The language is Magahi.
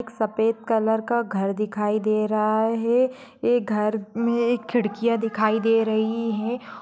एक सफेद कलर का घर दिखाई दे रहा है | ये घर में खिड़कियाँ दिखाई दे रही है।